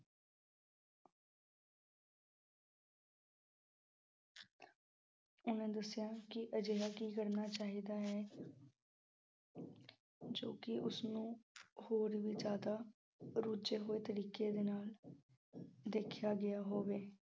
ਉਹਨਾਂ ਦੱਸਿਆ ਕਿ ਅਜਿਹਾ ਕੀ ਕਰਨਾ ਚਾਹੀਦਾ ਹੈ। ਜੋ ਕਿ ਉਸਨੂੰ ਹੋਰ ਵੀ ਜ਼ਿਆਦਾ ਰੁਝੇ ਹੋਏ ਤਰੀਕੇ ਦੇ ਨਾਲ ਦੇਖਿਆ ਗਿਆ ਹੋਵੇ।